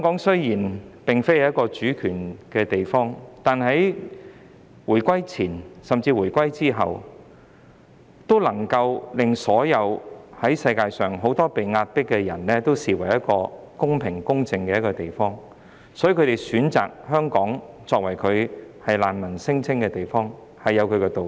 雖然香港並非一個主權地方，但在回歸前後，很多在世界各地遭受壓迫的人，都視香港為一個公平、公正的地方，所以他們選擇在香港提出難民聲請，也有箇中道理。